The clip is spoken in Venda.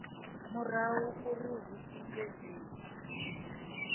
murahu uri hu itwe dzinwe